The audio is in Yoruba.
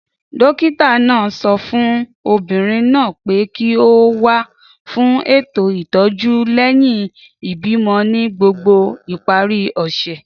Dókítà náà sọ fún obìnrin náà pé kí ó wá fún ètò ìtọ́jú lẹ́yìn ìbímọ ní gbogbo ìparí ọ̀sẹ̀